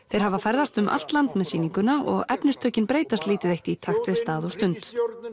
þeir hafa ferðast um allt land með sýninguna og efnistökin breytast lítið eitt í takt við stað og stund